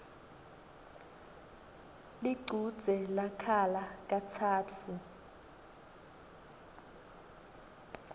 lichudze lakhala katsatfu